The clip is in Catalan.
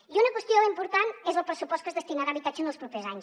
i una qüestió important és el pressupost que es destinarà a habitatge en els propers anys